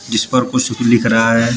जिस पर कुछ लिख रहा है।